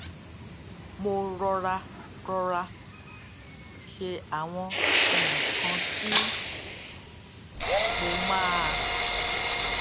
mo rọra rọra ṣe àwọn nnkan tí mo máa